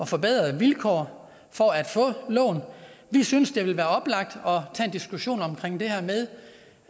forbedrede vilkår for at få lån vi synes det vil være oplagt at diskussion om